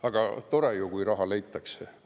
Aga tore ju ometigi, kui raha leitakse.